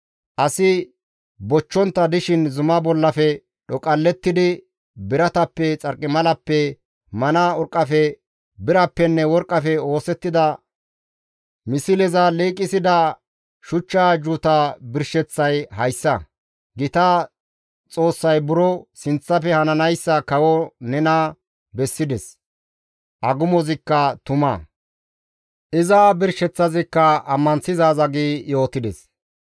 Asi bochchontta dishin zuma bollafe dhoqallettidi biratappe, xarqimalappe, mana urqqafe, birappenne worqqafe oosettida misleza liiqisida shuchcha ajjuuta birsheththay hayssa; gita Xoossay buro sinththafe hananayssa kawo nena bessides; agumozikka tuma; iza birsheththazikka ammanththizaaza» gi yootides.